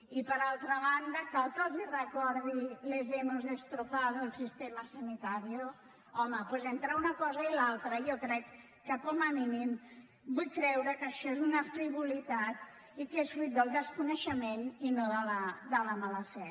i per altra banda cal que els recordi les hemos destrozado el sistema sanitario home doncs entre una cosa i l’altra jo crec que com a mínim vull creure que això és una frivolitat i que és fruit del desconeixement i no de la mala fe